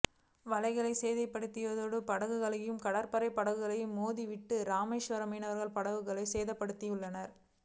வலைகளை சேதப்படுத்தியதோடு படகுகளோடு கடற்படைப் படகுகளை மோத விட்டு இராமேஸ்வரம் மீன்வர்களின் படகுகளை சேதப்படுத்தியுள்ளனர்